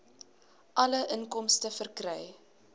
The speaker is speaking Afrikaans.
alle inkomste verkry